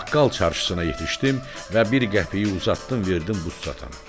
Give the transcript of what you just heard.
Baqqal çarşısına yetişdim və bir qəpiyi uzatdım, verdim buz satana.